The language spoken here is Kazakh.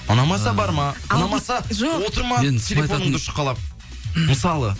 ұнамаса барма ұнамаса отырма телефоныңды шұқылап мысалы